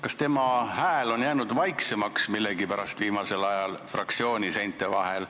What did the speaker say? Kas tema hääl on viimasel ajal millegipärast fraktsiooni seinte vahel vaiksemaks jäänud?